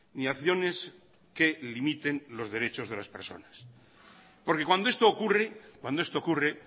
ni acciones que limiten los derechos de las personas porque cuando esto ocurre cuando esto ocurre